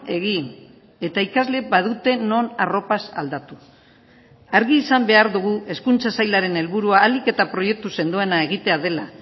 egin eta ikasleek badute non arropaz aldatu argi izan behar dugu hezkuntza sailaren helburua ahalik eta proiektu sendoena egitea dela